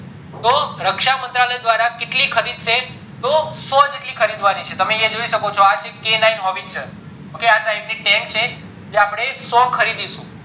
તો રાખસ મંત્રાલય દ્વારા કેટલી ખરીદશે તો સો જેટલી ખરીદવાની છે તમે યા જોઈ શકો છો k nine howitzer આ type ની tank છે જ અપડે સો ખરીદીશું